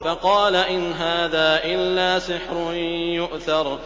فَقَالَ إِنْ هَٰذَا إِلَّا سِحْرٌ يُؤْثَرُ